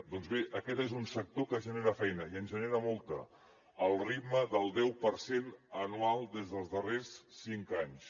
doncs bé aquest és un sector que genera feina i en genera molta al ritme del deu per cent anual des dels darrers cinc anys